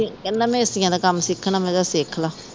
ਤੇ ਕਹਿੰਦਾ ਮੈਂ ਏਸੀਆਂ ਦਾ ਕੰਮ ਸਿੱਖਣਾ ਮੈਂ ਕਿਹਾ ਸਿੱਖਲਾ